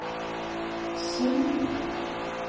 Sund